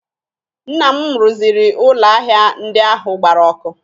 Nna m rụziri ụlọ ahịa ndị ahụ gbara ọkụ